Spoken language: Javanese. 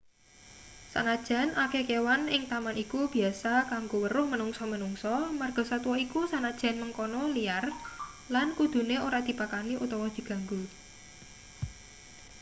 sanajan akeh kewan ing taman iku biasa kanggo weruh menungsa-menungsa margasatwa iku sanajan mengkono liar lan kudune ora dipakani utawa diganggu